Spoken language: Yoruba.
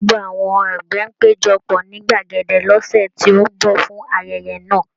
Gbogbo àwọn àgbẹ̀ á péjọ pọ̀ ní gbàgede lọ́sẹ̀ tó ń bọ̀ fún ayẹyẹ náà